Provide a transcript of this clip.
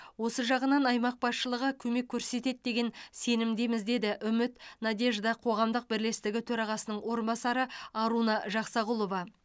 осы жағынан аймақ басшылығы көмек көрсетеді деген сенімдеміз деді үміт надежда қоғамдық бірлестігі төрағасының орынбасары аруна жақсағұлова